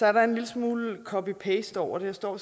er en lille smule copy paste over det jeg står